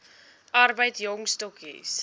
arbeid jong stokkies